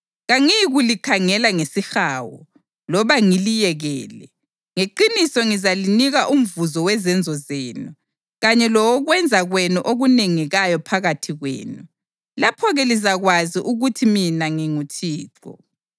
Kangiyikulikhangela ngesihawu loba ngiliyekele, ngeqiniso ngizalinika umvuzo wezenzo zenu kanye lowokwenza kwenu okunengekayo phakathi kwenu. Lapho-ke lizakwazi ukuthi mina nginguThixo.’